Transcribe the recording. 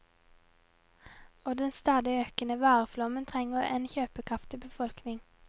Og den stadig økende vareflommen trenger en kjøpekraftig befolkning.